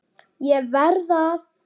ÉG VERÐ AÐ